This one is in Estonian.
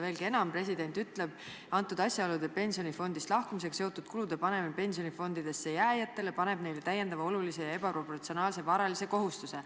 Veelgi enam, president ütleb, et nendel asjaoludel pensionifondist lahkumisega seotud kulude panemine pensionifondidesse jääjatele paneb neile täiendava, olulise ja ebaproportsionaalse varalise kohustuse.